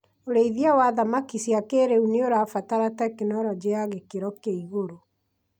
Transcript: ũrĩithia wa thamaki cia kĩrĩu nĩũrabatara tekinorojĩ ya gĩkĩro kĩa igũrũ